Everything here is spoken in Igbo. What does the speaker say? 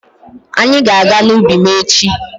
Anyị ga-aga n'ubi m echi.